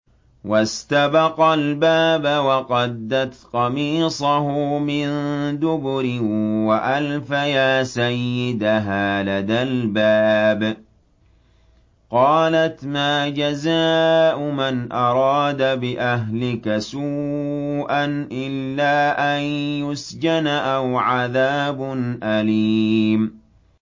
وَاسْتَبَقَا الْبَابَ وَقَدَّتْ قَمِيصَهُ مِن دُبُرٍ وَأَلْفَيَا سَيِّدَهَا لَدَى الْبَابِ ۚ قَالَتْ مَا جَزَاءُ مَنْ أَرَادَ بِأَهْلِكَ سُوءًا إِلَّا أَن يُسْجَنَ أَوْ عَذَابٌ أَلِيمٌ